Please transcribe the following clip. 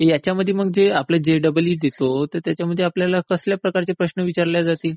यांच्यामध्ये आपण जे जे डबल ई देतो, ह्यांच्यामध्ये आपल्याला कसल्या प्रकारचे प्रश्न विचारले जातील?